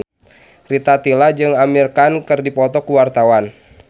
Rita Tila jeung Amir Khan keur dipoto ku wartawan